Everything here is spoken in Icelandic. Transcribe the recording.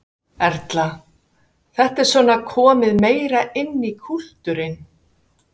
Erla: Þetta er svona komið meira inn í kúltúrinn?